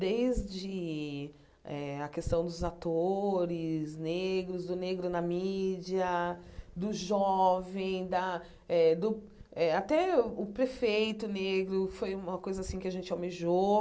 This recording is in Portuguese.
Desde eh a questão dos atores negros, do negro na mídia, do jovem da eh do eh, até o prefeito negro foi uma coisa assim que a gente almejou.